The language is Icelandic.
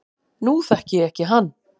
Nú þekki ég ekki hann